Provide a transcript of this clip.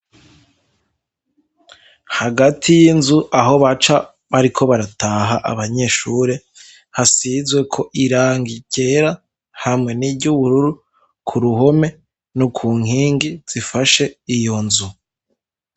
Hagati y'inzu aho baca bariko barataha abanyeshure hasizwe ko irangi kera hamwe niryo ubururu ku ruhome ni ku nkingi zifashe iyo nzu.